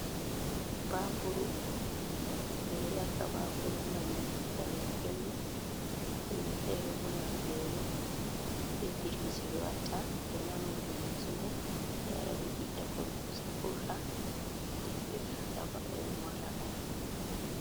"Bakuru" ɓeɗo yakka bakuru ngam danbo ɓelɗum himɓe fere bo ngam velo be biriji ɓe watta ɓe namam biriji mai ɓe yara ɓe ɓiɗɗa tunkusa vurta nde ɓe ɓiɗɗa ɓe morla bakuru.